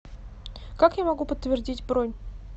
как я могу подтвердить бронь